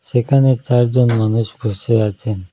সেখানে চারজন মানুষ বসে আছেন।